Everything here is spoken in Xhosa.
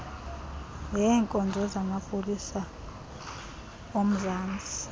leenkonzo zamapolisa omzantsi